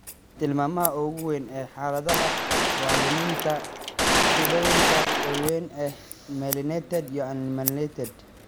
Tilmaamaha ugu weyn ee xaaladahan waa luminta fiilooyinka waaweyn ee myelinated iyo unmilinated.